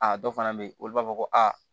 A dɔ fana bɛ yen olu b'a fɔ ko a